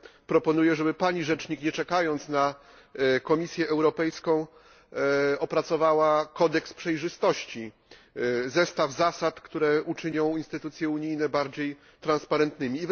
Ja proponuję, żeby Pani Rzecznik, nie czekając na Komisję Europejską, opracowała kodeks przejrzystości zestaw zasad, które uczynią instytucje unijne bardziej transparentnymi.